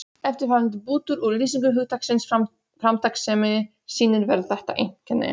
Eftirfarandi bútur úr lýsingu hugtaksins framtakssemi sýnir vel þetta einkenni